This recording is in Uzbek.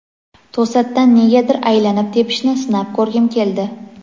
to‘satdan negadir aylanib tepishni sinab ko‘rgim keldi.